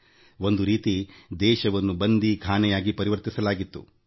ದೇಶ ಒಂದು ರೀತಿಯಲ್ಲಿ ಬಂದೀಖಾನೆಯಾಗಿ ಪರಿವರ್ತನೆಯಾಗಿತ್ತು